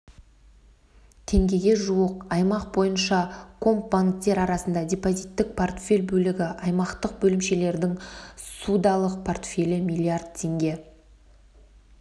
теңгеге жуық аймақ бойынша комбанктер арасында депозиттік портфель бөлігі аймақтық бөлімшелердің ссудалық портфелі миллиард теңге